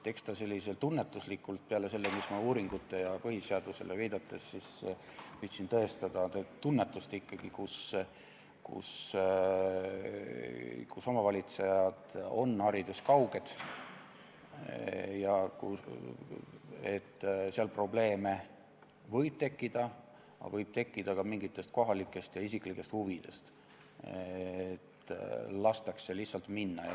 Eks ta peale selle, mida ma uuringutele ja põhiseadusele viidates püüdsin tõestada, ole ikkagi tunnetuslik, Kui omavalitsejad on hariduskauged, võib probleeme tekkida, aga ka mingite kohalike ja isiklike huvide tõttu võib tekkida see, et lastakse lihtsalt minna.